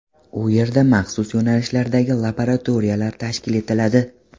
U yerda maxsus yo‘nalishlardagi laboratoriyalar tashkil etiladi.